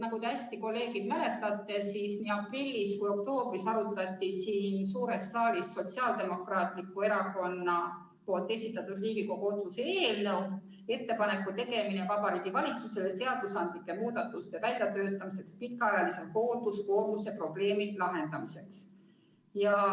Nagu te, kolleegid, hästi mäletate, arutati nii aprillis kui ka oktoobris siin suures saalis Sotsiaaldemokraatliku Erakonna esitatud Riigikogu otsuse eelnõu "Ettepaneku tegemine Vabariigi Valitsusele seadusandlike muudatuste väljatöötamiseks pikaajalise hoolduskoormuse probleemi lahendamiseks".